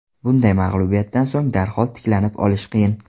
Bunday mag‘lubiyatdan so‘ng darhol tiklanib olish qiyin.